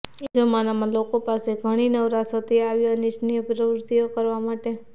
એ જમાનામાં લોકો પાસે ઘણી નવરાશ હતી આવી અનિચ્છનીય પ્રવૃત્તિઓ કરવા માટે